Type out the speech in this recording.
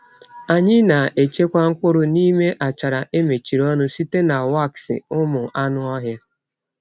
Anyị na-echekwa mkpụrụ n’ime achara e mechiri ọnụ site na waksị ụmụ anụ ọhịa.